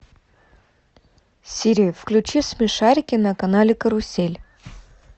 сири включи смешарики на канале карусель